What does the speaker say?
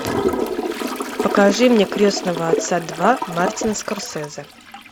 покажи мне крестного отца два мартин скорсезе